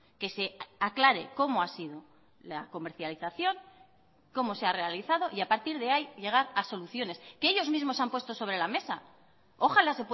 que se aclare cómo ha sido la comercialización cómo se ha realizado y a partir de ahí llegar a soluciones que ellos mismos han puesto sobre la mesa ojalá